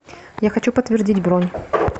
я хочу подтвердить бронь